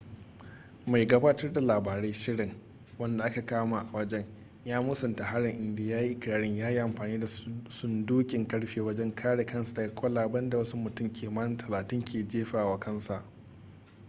mai gabatar da labarai/shirin wanda aka kama a wajen ya musanta harin inda ya yi ikirarin ya yi amfani da sundukin karfe wajen kare kansa daga kwalaben da wasu mutum kimanin talatin ke jefawa kansa